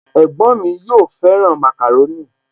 Ẹ̀gbọ́n mi yóò fẹ́ràn màkàrónì